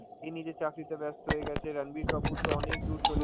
এ নিজের চাকরিতে ব্যস্ত, এ গেছে রাণবীর কাপুর তো অনেক দূর চলে